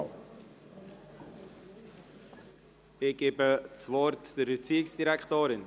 Ich gebe das Wort der Erziehungsdirektorin.